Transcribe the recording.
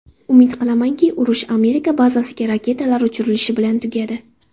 Umid qilamanki, urush Amerika bazasiga raketalar uchirilishi bilan tugadi.